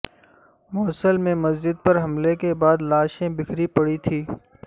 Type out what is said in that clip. موصل میں مسجد پر حملے کے بعد لاشیں بکھری پڑی تھیں